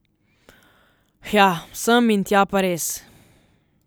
Hja, sem in tja pa res.